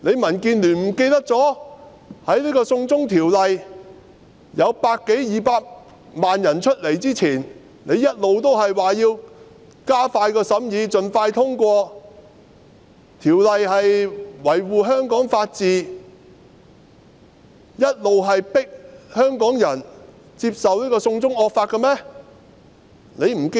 民建聯忘記了在百多二百萬名市民出來遊行反對"送中條例"之前，他們不是一直說要加快審議法案，讓法案盡快通過，維護香港法治，一直迫香港人接受"送中惡法"的嗎？